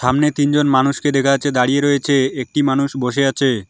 সামনে তিনজন মানুষকে দেখা যাচ্ছে দাঁড়িয়ে রয়েছে একটি মানুষ বসে আছে।